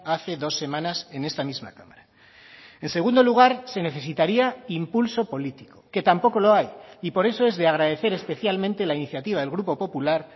hace dos semanas en esta misma cámara en segundo lugar se necesitaría impulso político que tampoco lo hay y por eso es de agradecer especialmente la iniciativa del grupo popular